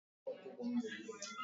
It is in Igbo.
Kpọọrọ m onye ọkwọ ụgbọ mmiri!